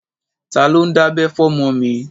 Ta ló ń dábẹ́ fọmọ mi?